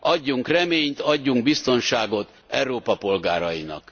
Adjunk reményt, adjunk biztonságot Európa polgárainak!